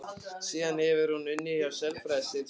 Síðan hefur hún unnið hjá sálfræðideild skóla.